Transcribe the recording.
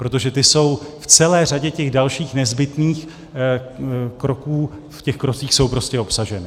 Protože ty jsou v celé řadě těch dalších nezbytných kroků, v těch krocích jsou prostě obsaženy.